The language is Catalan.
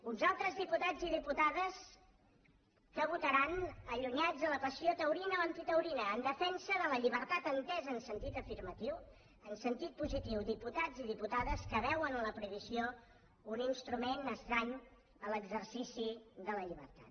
uns altres diputats i diputades que votaran allunyats de la passió taurina o antitaurina en defensa de la llibertat entesa en sentit afirmatiu en sentit positiu diputats i diputades que veuen en la prohibició un instrument estrany a l’exercici de la llibertat